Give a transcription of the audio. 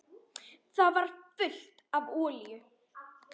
Það var fullt af olíu.